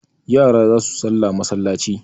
yara za su sallah masallaci